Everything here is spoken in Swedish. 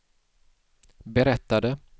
berättade